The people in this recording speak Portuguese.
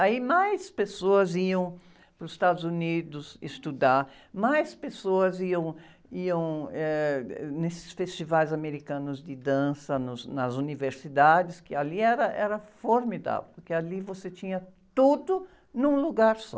Aí mais pessoas iam para os Estados Unidos estudar, mais pessoas iam, iam, eh, nesses festivais americanos de dança nos, nas universidades, que ali era, era formidável, porque ali você tinha tudo num lugar só.